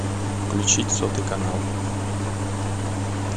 включить сотый канал